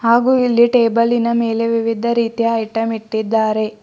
ಹಾಗೂ ಇಲ್ಲಿ ಟೇಬಲಿನ ಮೇಲೆ ವಿವಿಧ ರೀತಿಯ ಐಟಂ ಇಟ್ಟಿದ್ದಾರೆ.